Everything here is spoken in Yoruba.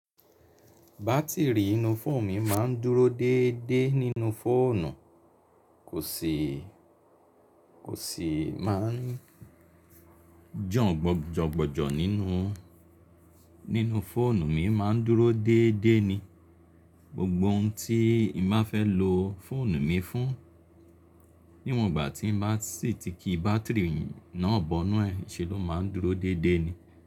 Bátìrì inú fóònù mi máa ń dúró déédé nínú fóònù, kò sì máa ń jòn gbòjògbòjò nínú. Nínú fóònù mi máa ń dúró déédé ni gbogbo ohun tí n má fẹ́ lo fóònù mi fún, níwòn ìgbà tí n bá sì ti ki bátìrì náà bọ́nù ẹ́, ṣe ló máa ń dúró déédé ni.